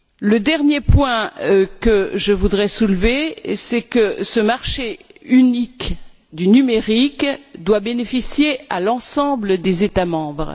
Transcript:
Le dernier point que je voudrais soulever, c'est que ce marché unique du numérique doit bénéficier à l'ensemble des États membres.